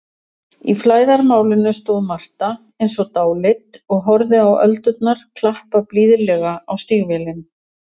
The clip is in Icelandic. Í flæðarmálinu stóð Marta eins og dáleidd og horfði á öldurnar klappa blíðlega á stígvélin.